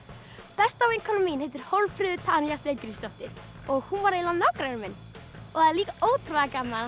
besta vinkona mín heitir Hólmfríður Tanja Steingrímsdóttir og hún var eiginlega nágranni minn það er líka ótrúlega gaman